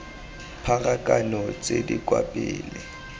pharakano tse di kwa pele